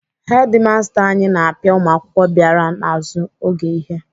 Hedimasta anyị na-apịa ụmụakwụkwọ bịara n'azụ oge ihe.